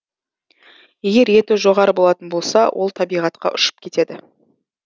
егер еті жоғары болатын болса ол табиғатқа ұшып кетеді